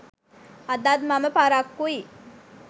අදත් මම පරක්කුයි